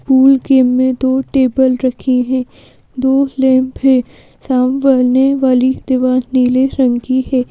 Pool game में दो table रखी हैं दो लैंप है सामने वाली दीवार नीले रंग की है।